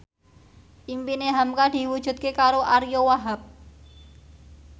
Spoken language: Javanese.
impine hamka diwujudke karo Ariyo Wahab